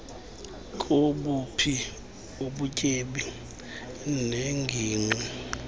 kobuphi ubutyebi neengingqi